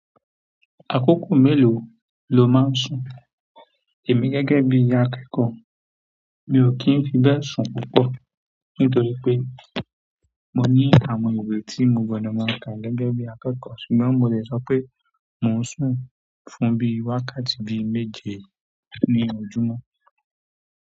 Àkókò mélòó lo máa ń sùn? Èmi gẹ́gẹ́ bí i akẹ́kọ̀ọ́ mi ò kí ń fi bẹ́ẹ̀ sùn púpọ̀ nítorí pé mo ní àwọn ìwé tí mo gbọdọ̀ máa kà gẹ́gẹ́ bí i akẹ́kọ̀ọ́ ṣùgbọ́n mo lè sọ pé mò ń sùn fún bí i wákàtí bi méje ní ojúmọ́.